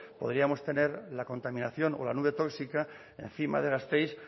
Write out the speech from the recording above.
podríamos tener la contaminación o la nube tóxica encima de gasteiz